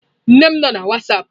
Nne m no na wasapụ.